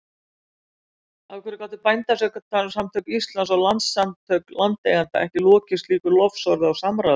Af hverju gátu Bændasamtök Íslands og Landssamtök landeigenda ekki lokið slíku lofsorði á samráðið?